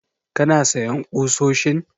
Kana sayan ƙusoshin?